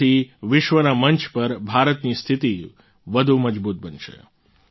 તેનાથી વિશ્વના મંચ પર ભારતની સ્થિતી વધુ મજબૂત બનશે